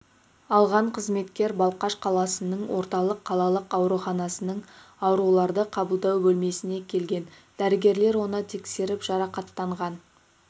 алған қызметкер балқаш қаласының орталық қалалық ауруханасының ауруларды қабылдау бөлмесіне келген дәрігерлер оны тексеріп жарақаттанған